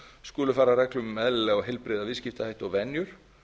skulu fara að reglum um eðlilega og heilbrigða viðskiptahætti og venjur